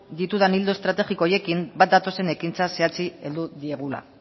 ditudan ildo estrategiko horiekin bat datozen ekintza zehatzei heldu diegula